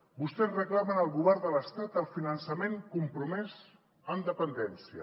vostès reclamen al govern de l’estat el finançament compromès en dependència